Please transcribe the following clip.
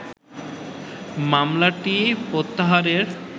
মামলাটিই প্রত্যাহারের